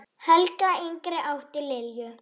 Helga yngri átti Lilju.